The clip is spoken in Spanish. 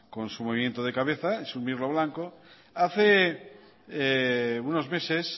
con su movimiento de cabeza hace unos meses